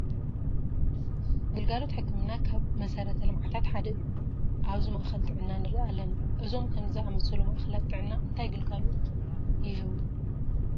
ግልጋሎት ሕክምና ካብ መሰረተ ልምዓታት ሓደ እዩ፡፡ ኣብዚ ማእኸል ጥዕና ንርኢ ኣለና፡፡ እዞም ከምዚ ዝኣሰሉ ማእኸላት ጥዕና እንታይ ግልጋሎት ይህቡ?